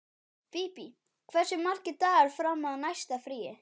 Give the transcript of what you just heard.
Bíbí, hversu margir dagar fram að næsta fríi?